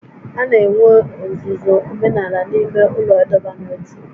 A na-enwe ọzụzụ omenala n'ime ụlọ ịdọba n'ótú